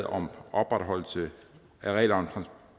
om opretholdelse af reglerne